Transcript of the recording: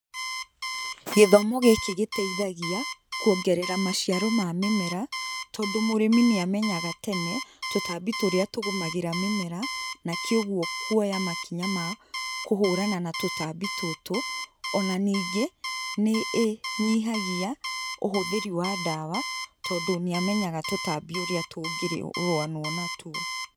Gĩthomo gĩkĩ gĩteithagĩa, kuongerera maciaro ma mĩmera, tondũ mũrĩmi nĩamenyaga tene, tũtambi tũrĩa tũgũmagĩra mĩmera, na kĩũguo kuoya makinya ma kũhũrana na tũtambu tũtũ, ona ningĩ, nĩ ĩ nyihagia, ũhũthĩri wa ndawa, tondũ nĩamenyaga tũtambi ũrĩa tũngĩruanwo natuo.